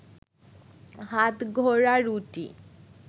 হাতগড়া রুটি